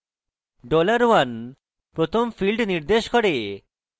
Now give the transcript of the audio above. $1 dollar 1 প্রথম field নির্দেশ করে